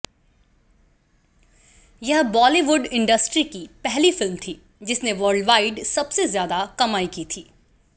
यह बॉलीवुड इंडस्ट्री की पहली फिल्म थी जिसनें वर्ल्डवाइड सबसे ज़्यादा कमाई की थी